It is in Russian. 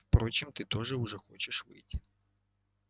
впрочем ты уже хочешь выйти